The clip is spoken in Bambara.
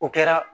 O kɛra